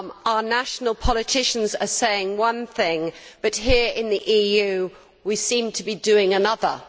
Our national politicians are saying one thing, but here in the EU we seem to be doing another.